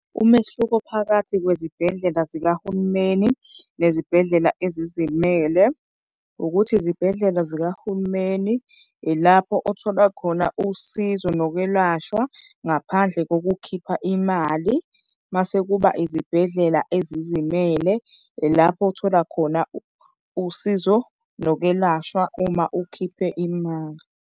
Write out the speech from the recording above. Umehluko phakathi kwezibhedlela zikahulumeni nezibhedlela ezizimele ukuthi izibhedlela zikahulumeni ilapho othola khona usizo nokwelashwa ngaphandle ngokukhipha imali. Mase kuba izibhedlela ezizimele ilapho othola khona usizo nokwelashwa uma ukhiphe imali.